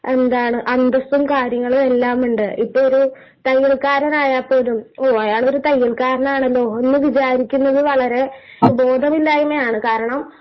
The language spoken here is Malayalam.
...എന്താണ്...അന്തസ്സും കാര്യങ്ങളും എല്ലാം ഉണ്ട്..ഇപ്പം ഒരു തയ്യൽക്കാരൻ ആയാൽ പോലും അയാൾ ഒരു തയ്യൽക്കാരൻ ആണല്ലോ എന്ന് വിചാരിക്കുന്നത് വളരെ ബോധമില്ലായ്മയാണ്, കാരണം...